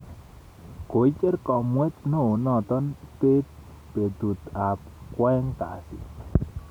Koicher kamuet neo noto beet betut ab kwaeng kasi